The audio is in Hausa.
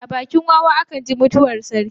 A bakin wawa a kan ji mutuwar sarki.